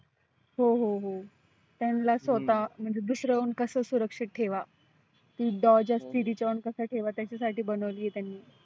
हो हो हो त्यांला स्वतः म्हणजे दुसरं हून कसं सुरक्षित ठेवा ती doge असती तीच्या वन कसा ठेवा त्याच्यासाठी बनवली आहे त्यांनी.